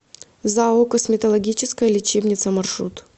зао косметологическая лечебница маршрут